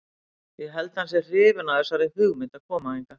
Ég held að hann sé hrifinn af þessari hugmynd að koma hingað.